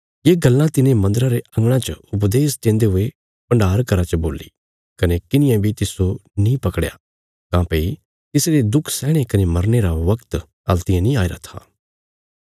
ये गल्लां तिने मन्दरा रे अंगणा च उपदेश देन्दे हुये भण्डार घरा च बोल्ली कने किन्हिये बी तिस्सो नीं पकड़या काँह्भई तिसरे दुख सैहणे कने मरने रा बगत हल्तियें नीं आईरा था